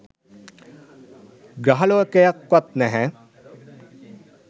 ග්‍රහ ලෝකයක්වත් නැහැ.